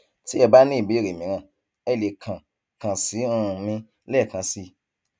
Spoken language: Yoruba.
tí ẹ bá ní ìbéèrè mìíràn ẹ lè kàn kàn sí um mi lẹẹkan sí i